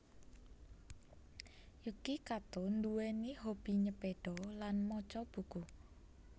Yuki Kato nduwèni hobi nyepeda lan maca buku